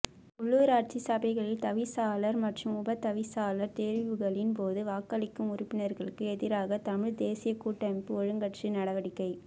உள்ளூராட்சி சபைகளில் தவிசாளர் மற்றும் உப தவிசாளர் தெரிவுகளின்போது வாக்களிக்கும் உறுப்பினர்களுக்கு எதிராக தமிழ்த் தேசியக் கூட்டமைப்பு ஒழுக்காற்று நடவடிக்கை